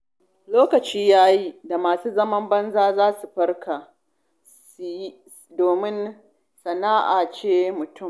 Lokaci ya yi da masu zaman banza za su farka, domin sana'a ita ce mutum.